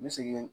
N bɛ segin